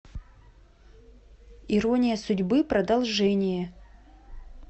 ирония судьбы продолжение